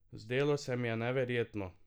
Zdelo se mi je neverjetno!